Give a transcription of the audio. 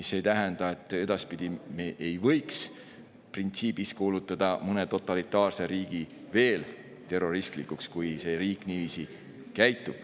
See ei tähenda, et edaspidi me ei võiks printsiibis kuulutada veel mõnda totalitaarset riiki terroristlikuks, kui see riik niiviisi käitub.